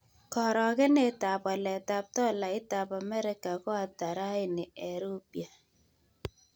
Karogenetap waletap tolaitap Amerika ko ata raini eng' rupia